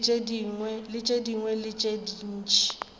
le tše dingwe tše ntši